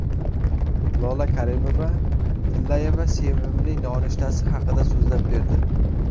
Lola Karimova-Tillayeva sevimli nonushtasi haqida so‘zlab berdi.